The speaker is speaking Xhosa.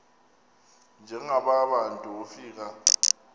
njengaba bantu wofika